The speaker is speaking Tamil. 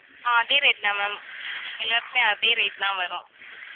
அதே rate தான் ma'am எல்லாருக்குமே, அதே rate தான் வரும்